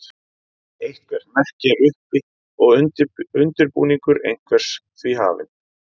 eitthvert merki er uppi og undirbúningur einhvers því hafinn